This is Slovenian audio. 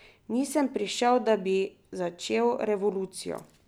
Nisem prišel, da bi začel revolucijo.